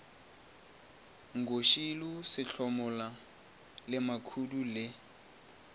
nkoshilo sehlomola le makhudu le